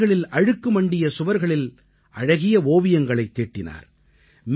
வீதிகளில் அழுக்கு மண்டிய சுவர்களில் அழகிய ஓவியங்களைத் தீட்டினார்